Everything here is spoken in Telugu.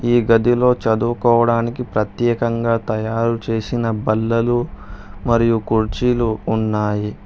ఈ గదిలో చదువుకోడానికి ప్రత్యేకంగా తయారు చేసిన బల్లలు మరియు కుర్చీలు ఉన్నాయి.